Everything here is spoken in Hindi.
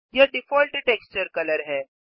यह डिफ़ॉल्ट टेक्सचर कलर है